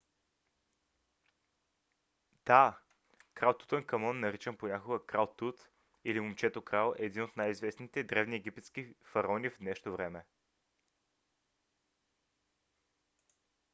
да! крал тутанкамон наричан понякога крал тут или момчето-крал е един от най - известните древни египетски фараони в днешно време.